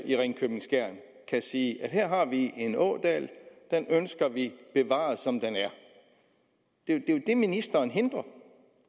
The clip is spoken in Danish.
i ringkøbing skjern kan sige her har vi en ådal og den ønsker vi bevaret som den er det ministeren hindrer